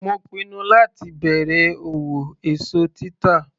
Mo pinnu láti bẹ̀rẹ̀ òwò èso títà.